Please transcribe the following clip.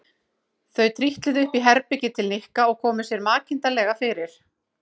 Þau trítluðu upp í herbergi til Nikka og komu sér makindalega fyrir.